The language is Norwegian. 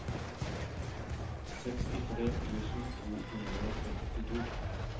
sekstitre tusen to hundre og trettito